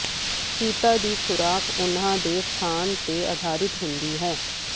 ਚੀਤਾ ਦੀ ਖੁਰਾਕ ਉਨ੍ਹਾਂ ਦੇ ਸਥਾਨ ਤੇ ਆਧਾਰਿਤ ਹੁੰਦੀ ਹੈ